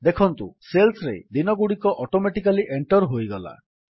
ଦେଖନ୍ତୁ ସେଲ୍ସରେ ଦିନଗୁଡ଼ିକ ଅଟୋମେଟିକାଲୀ ଏଣ୍ଟର୍ ହୋଇଗଲା